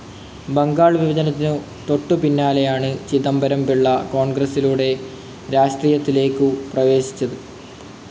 ബംഗാൾ വിഭജനത്തിനു തൊട്ടു പിന്നാലെയാണ് ചിദംബരം പിള്ള കോൺഗ്രസ്സിലൂടെ രാഷ്ട്രീയത്തിലേക്കു പ്രവേശിക്കുന്നത്.